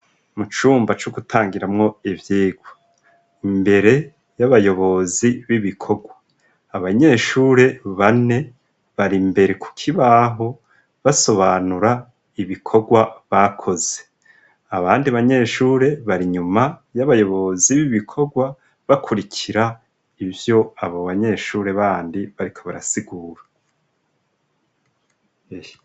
Mu cumba co gutangiramwo ivyigwa. Imbere y'abayobozi b'ibikorwa, abanyeshuri bane bari imbere ku kibaho basobanura ibikorwa bakoze, abandi banyeshure bari inyuma y'abayobozi b'ibikorwa bakurikira ivyo abo banyeshure bandi bariko barasigura.